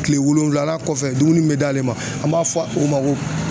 Kile wolonwulanan kɔfɛ dumuni bɛ d'ale ma an b'a fɔ o ma ko